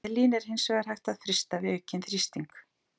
Helín er hins vegar hægt að frysta við aukinn þrýsting.